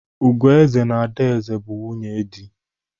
Ugueze na Adaeze bụ nwunye dị.